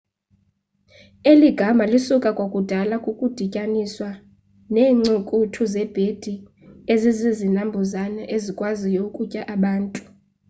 eli gama lisuka kwakudala kukudityaniswa neencukuthu zebhedi ezizinambuzane ezikwaziyo ukutya abantu